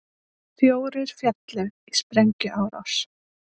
Fjórir féllu í sprengjuárás